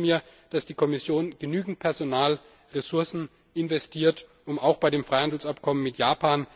Ich wünsche mir, dass die Kommission genügend Personalressourcen investiert, um auch bei dem Freihandelsabkommen mit Japan